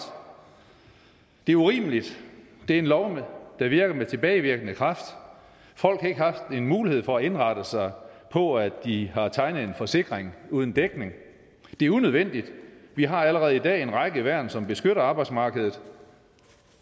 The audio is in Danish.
det er urimeligt det er en lov der virker med tilbagevirkende kraft folk har ikke haft mulighed for at indrette sig på at de har tegnet en forsikring uden dækning det er unødvendigt vi har allerede i dag en række værn som beskytter arbejdsmarkedet